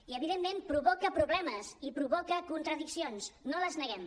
i evidentment provoca problemes i provoca contradiccions no les neguem